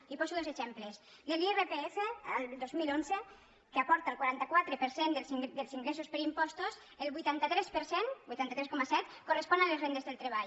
i poso dos exemples de l’irpf el dos mil onze que aporta el quaranta quatre per cent dels ingressos per impostos el vuitanta tres per cent vuitanta tres coma set correspon a les rendes del treball